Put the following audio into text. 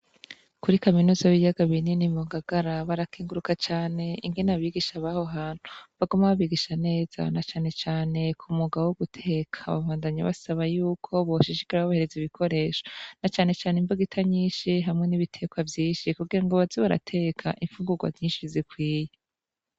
Kuri kaminuza yibiyaga binini mu Ngagara, barakenguruka cane ingene abigisha baho hantu baguma babigisha neza na cane cane ku mwuga wo guteka, babandanya basaba yuko boshishikara babahereza ibikoresho na cane cane imbugita nyinshi hamwe n'ibitekwa vyishi kugira ngo baze barateka imfungugwa vyinshi bikwiye.